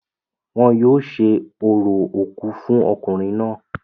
wọn yóò ṣe orò òkú fún ọkùnrin náà